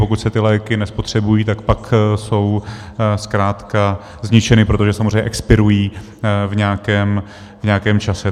Pokud se ty léky nespotřebují, tak pak jsou zkrátka zničeny, protože samozřejmě expirují v nějakém čase.